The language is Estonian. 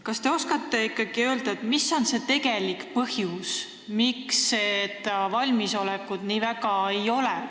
Kas te oskate öelda, mis on tegelik põhjus, miks seda valmisolekut nii väga ei ole?